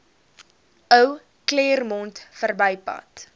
ou claremont verbypad